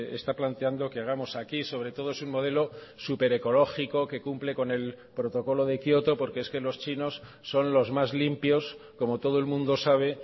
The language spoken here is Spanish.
está planteando que hagamos aquí sobre todo es un modelo súper ecológico que cumple con el protocolo de kioto porque es que los chinos son los más limpios como todo el mundo sabe